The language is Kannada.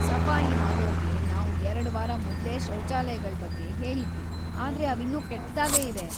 ಸಫಾಯಿ‌ ಮಾಡೋರ್ಗೆ‌ ನಾವು ಎರ್ಡ್ ವಾರ ಮೊದ್ಲೇ ಶೌಚಾಲಯಗಳ್‌ ಬಗ್ಗೆ ಹೇಳಿದ್ವಿ ಆದ್ರೆ ಅವಿನ್ನೂ ಕೆಟ್ಟದಾಗೇ ಇವೆ.